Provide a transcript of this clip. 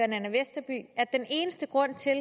nanna westerby at den eneste grund til at